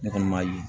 Ne kɔni ma ye